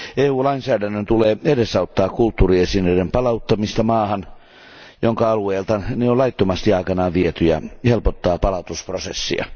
EU lainsäädännön tulee edesauttaa kulttuuriesineiden palauttamista maahan, jonka alueelta ne on laittomasti aikanaan viety ja helpottaa palautusprosessia.